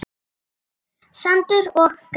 Sandur og gras.